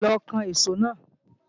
Lọ kan ìṣó náà!